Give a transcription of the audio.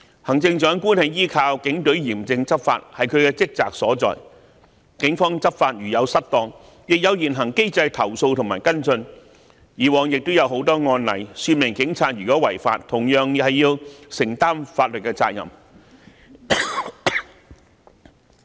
行政長官依靠警隊嚴正執法，這是她的職責所在，警方執法如有失當，亦有現行機制投訴及跟進，以往也有很多案例說明警察如果違法，同樣要承擔法律責任。